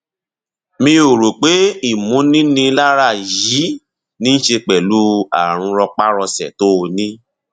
mi ò rò pé ìmúninilára yìí ní í ṣe pẹlú ààrùn rọpárọsẹ tó o ní